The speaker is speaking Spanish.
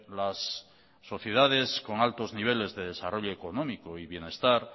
las sociedades con altos niveles de desarrollo económico y bienestar